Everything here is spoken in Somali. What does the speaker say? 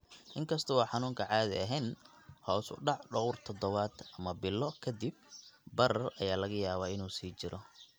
Inkasta oo xanuunku caadi ahaan hoos u dhaco dhowr toddobaad ama bilo ka dib, barar ayaa laga yaabaa inuu sii jiro.